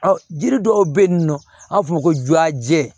jiri dɔw bɛ yen nɔ an b'a fɔ o ma ko juyajɛ